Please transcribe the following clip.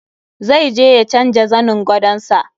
Zai je ya canja zanin gadon sa.